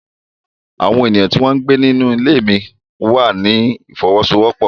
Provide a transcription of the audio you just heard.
Àwọn ènìyàn tí wọ́n ń gbé nílé mí wà ní ìfọwọ́sowọ́pọ̀.